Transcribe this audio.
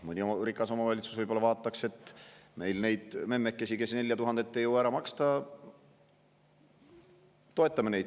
Mõni rikas omavalitsus ehk, et toetame neid memmekesi, kes ei jõua 4000 eurot ära maksta.